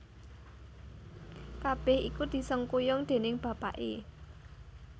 Kabèh iku disengkuyung déning bapaké